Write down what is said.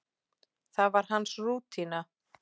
Það var hans rútína.